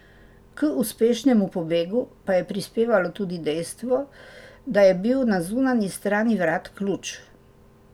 K uspešnemu pobegu pa je prispevalo tudi dejstvo, da je bil na zunanji strani vrat ključ.